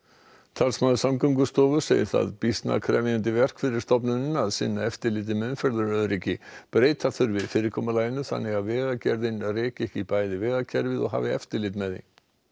talsmaður Samgöngustofu segir það býsna krefjandi verk fyrir stofnunina að sinna eftirliti með umferðaröryggi breyta þurfi fyrirkomulaginu þannig að Vegagerðin reki ekki bæði vegakerfið og hafi eftirlit með því